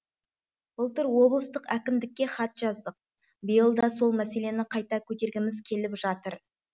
былтыр облыстық әкімдікке хат жаздық биыл да сол мәселені қайта көтергіміз келіп жатыр